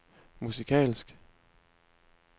musikalsk